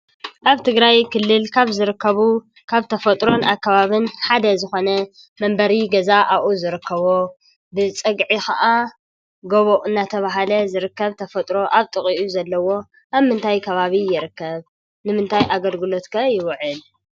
ኣብ ትግራይ ክልል ካብ ዝርከቡ ካብ ተፈጥሮን ኣከባብን ሓደ ዝኾነ መንበሪ ገዛ ኣብኡ ዝርከቦ ብፀግዒ ከዓ ጎቦ እናተብሃለ ዝርከብ ተፈጥሮ ኣብ ጥቂኡ ዘለዎ ኣብ ምንታይ ከባቢ ይርከብ ንምንታት ኣገልግሎት ከ ይውዕል ?